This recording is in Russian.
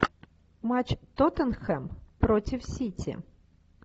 матч тоттенхэм против сити